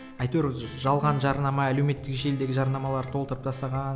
әйтеуір жалған жарнама әлеуметтік желідегі жарнамалар толтырып тастаған